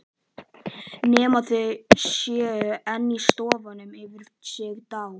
Nema þau séu enn í sófanum, yfir sig dá